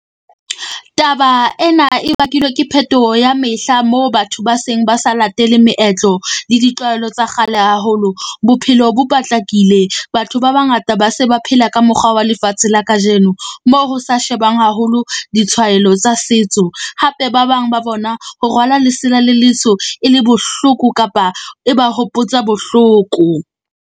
Taba ena e bakilwe ke phetoho ya mehla, moo batho ba seng ba sa latele meetlo le ditlwaelo tsa kgale haholo, bophelo bo patlakile. Batho ba bangata ba se ba phela ka mokgwa wa lefatshe la kajeno. Moo ho sa shebang haholo ditshwaelo tsa setso, hape ba bang ba bona ho rwala lesela le , e le bohloko, kapa e ba hopotsa bohloko.